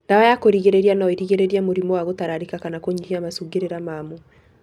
Ndawa ya kũrigĩrĩria no ĩrigĩrĩrie mũrimũ wa gũtararĩka kana kũnyihia macungirira mamo.